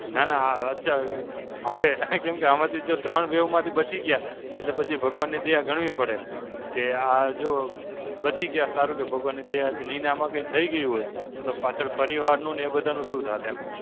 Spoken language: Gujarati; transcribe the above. ના ના અચ્છા, હવે કેમ કે આમાંથી જો ત્રણ wave માંથી બચી ગયા, એટલે પછી ભગવાનની દયા ગણવી પડે. કે આ જો બચી ગયા, સારું કે ભગવાનની દયાથી નહીં ને આમાં કઈ થઈ ગયું હોત, તો પાછળ પરિવારનું ને એ બધાનું શું થાત એમ.